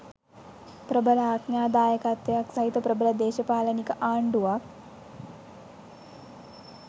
ප්‍රබල ආඥාදායකත්වයක් සහිත ප්‍රබල දේශපාලනික ආණ්ඩුවක්.